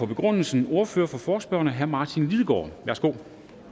begrundelse ordfører for forespørgerne herre martin lidegaard værsgo